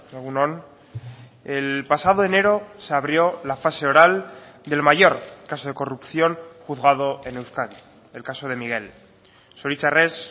egun on el pasado enero se abrió la fase oral del mayor caso de corrupción juzgado en euskadi el caso de miguel zoritxarrez